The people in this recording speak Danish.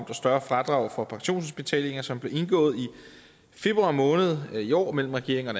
og større fradrag for pensionsindbetalinger som blev indgået i februar måned i år mellem regeringen og